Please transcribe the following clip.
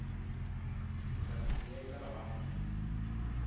ka se ye ka ga